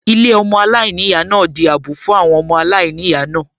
Ilé ọmọ aláìníyàá náà di àbọ̀ fún àwọn ọmọ aláìníyàá náà